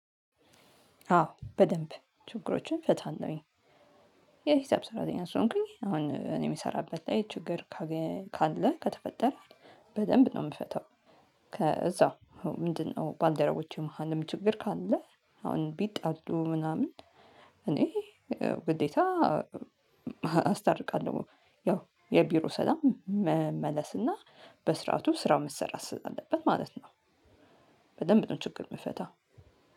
አዎ በደንብ ችግሮችን እፈታለሁኝ። የሂሳብ ሰራተኛ ስለሆንኩኝ አሁን እኔ የምሰራበት ላይ ችግር ካለ ከተፈጠረ በደንብ ነው የምፈታው። ከዛ ምንድነው? ባልደረቦቼ መሃልም ችግር ካለ አሁን ቢጣሉ ምናምን። እኔ ግዴታ አስታርቃለሁ። ያው የቢሮ ሰላም መመለስና በስርዓቱ ስራው መሰራት ስላለበት ማለት ነው። በደምብ ነው ችግር የምፈታው።